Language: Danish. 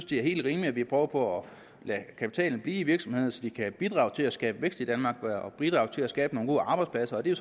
det er helt rimeligt at vi prøver på at lade kapitalen blive i virksomhederne så de kan bidrage til at skabe vækst i danmark og bidrage til at skabe nogle gode arbejdspladser og det er